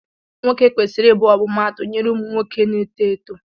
Nwoke kwesiri ịbụ ọmụmaatụ nyere ụmụ nwoke na-eto eto.